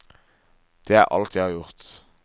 Det er alt jeg har gjort.